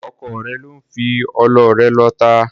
Ọkọ rẹ ló ń fi ọlọ rẹ lọ ata.